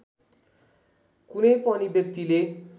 कुनै पनि व्यक्तिले